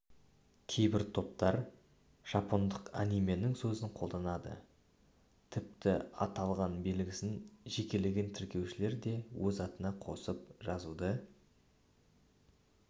кейбір топтар жапондық анименің сөзін қолданады тіпті аталған белгісін жекелеген тіркелушілер де өз атына қосып жазуды